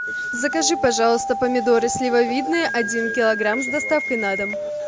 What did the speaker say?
закажи пожалуйста помидоры сливовидные один килограмм с доставкой на дом